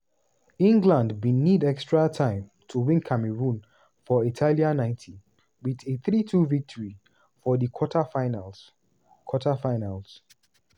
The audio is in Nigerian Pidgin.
england bin need extra time to win cameroon for italia 90 wit a 3-2 victory for di quarter-finals. quarter-finals.